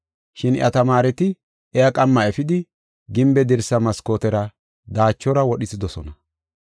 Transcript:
Shin iya tamaareti iya qamma efidi, gimbe dirsa maskootera daachora wodhisidosona.